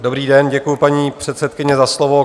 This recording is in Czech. Dobrý den, děkuju paní předsedkyně, za slovo.